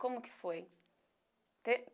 Como que foi?